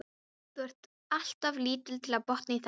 Þú ert alltof lítill til að botna í þessu